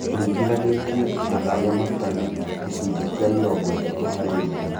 Ũringithanĩtie na arĩa matarĩ (gĩcunjĩ kĩa mĩrongo ĩtatũ harĩ ngiri)